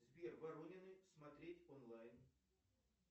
сбер воронины смотреть онлайн